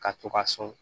Ka to ka sɔn